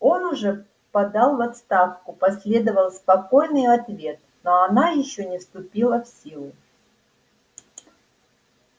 он уже подал в отставку последовал спокойный ответ но она ещё не вступила в силу